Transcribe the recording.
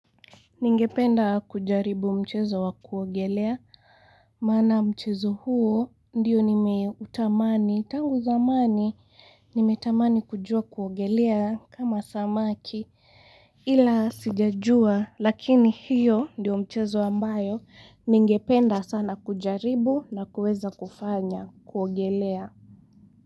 Ningependa kujaribu mchezo wa kuogelea, mana mchezo huo ndiyo nimeutamani, tangu zamani nimeutamani kujua kuogelea kama samaki ila sijajua lakini hiyo ndiyo mchezo ambayo ningependa sana kujaribu na kueza kufanya kuogelea.